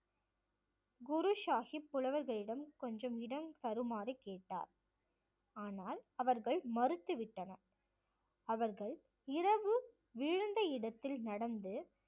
குரு சாஹிப் புலவர்களிடம் கொஞ்சம் இடம் தருமாறு கேட்டார். ஆனால் அவர்கள் மறுத்து விட்டனர் அவர்கள் இரவு விழுந்த இடத்தில் நடந்து